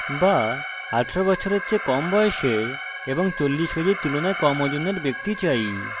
বা 18 বছরের চেয়ে কম বয়সের এবং 40 কেজির তুলনায় কম ওজনের ব্যক্তি চাই